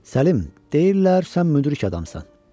Səlim, deyirlər sən müdrik adamsan.